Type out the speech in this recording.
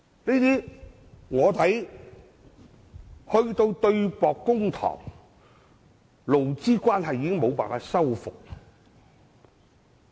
如果要對簿公堂，勞資關係已無法修復。